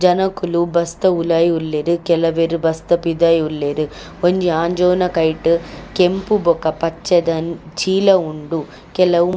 ಜನೊಕುಲು ಬಸ್ಸ್ ದ ಉಲಾಯಿ ಉಲ್ಲೆರ್ ಕೆಲವೆರ್ ಬಸ್ಸ್ ದ ಪಿದಾಯಿ ಉಲ್ಲೆರ್ ಒಂಜಿ ಆಂಜೋವುನ ಕೈಟ್ ಕೆಂಪು ಬೊಕ ಪಚ್ಚೆದ ಚೀಲ ಉಂಡು ಕೆಲವು.